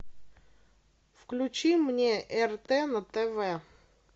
включи мне рт на тв